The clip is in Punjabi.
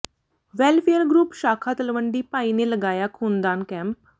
ਵੈੱਲਫੇਅਰ ਗਰੱੁਪ ਸ਼ਾਖਾ ਤਲਵੰਡੀ ਭਾਈ ਨੇ ਲਗਾਇਆ ਖੂਨਦਾਨ ਕੈਂਪ